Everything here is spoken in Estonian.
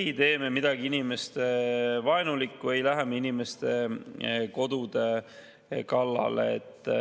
Ei tee me midagi inimestevaenulikku, ei lähe me inimeste kodude kallale.